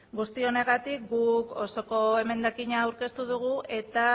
guzti honengatik guk osoko emendakina aurkeztu dugu eta